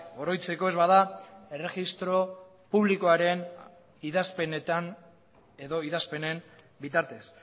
oroitzeko ez bada erregistro publikoaren idazpenetan edo idazpenen bitartez